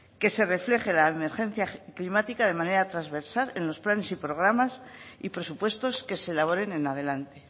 que se refleje la emergencia climática de manera transversal en los planes y programas y presupuestos que se elaboren en adelante